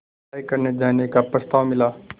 पढ़ाई करने जाने का प्रस्ताव मिला